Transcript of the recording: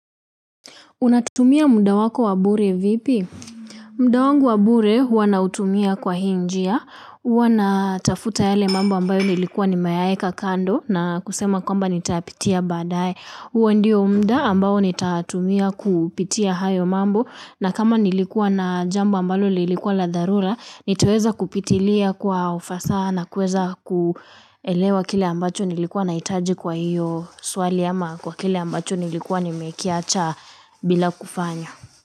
Unatumia mda wako wa bure vipi? Mda wangu wa bure huwa nautumia kwa hii njia. Wana tafuta yale mambo ambayo nilikuwa nimeyaeka kando na kusema kwamba nitapitia baadae. Hwa ndio mda ambayo nitatumia kupitia hayo mambo na kama nilikuwa na jambo ambalo lilikuwa la dharura, nitoweza kupitilia kwa ufasaha nakuweza kuelewa kile ambacho nilikuwa nahitaji kwa hiyo swali ama kwa kile ambacho nilikuwa nimekiacha bila kufanya.